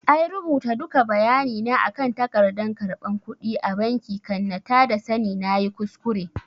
I rubuta duka bayani na akan tagardan karɓan kudi a banki kan na tada sani nayi kuskure